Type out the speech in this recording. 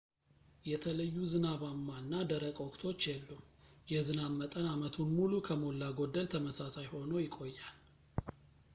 የተለዩ ዝናባማ እና ደረቅ ወቅቶች የሉም የዝናብ መጠን አመቱን ሙሉ ከሞላ ጎደል ተመሳሳይ ሆኖ ይቆያል